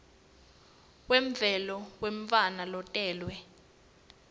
wemvelo wemntfwana lotelwe